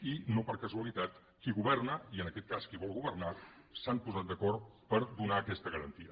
i no per casualitat qui governa i en aquest cas qui vol governar s’han posat d’acord per donar aquesta garantia